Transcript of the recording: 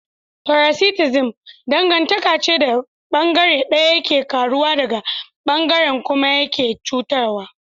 Paraticism dangantaka ce da bangare daya yake karuwa daya bangaren kuma yake cutuwa.